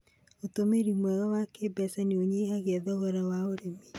ũtũmĩri mwega wa kĩmbeca nĩ ũnyihagia thogora wa ũrĩmi.